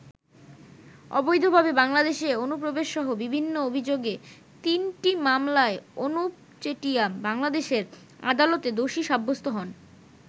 অবৈধভাবে বাংলাদেশে অনুপ্রবেশসহ বিভিন্ন অভিযোগে তিনটি মামলায় অনুপ চেটিয়া বাংলাদেশের আদালতে দোষী সাব্যস্ত হন।